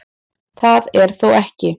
Það er þó ekki